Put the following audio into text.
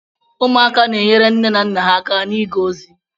Ụmụaka na-enyere nne na nna ha aka n'iga ozi.